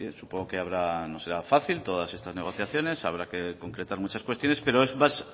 supongo que no será fácil todas estas negociaciones habrá que concretar muchas cuestiones pero es más